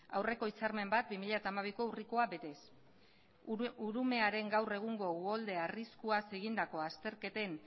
aurreko hitzarmen bat bi mila hamabiko urrikoa betez urumearen gaur egun uholde arriskuaz egindako azterketen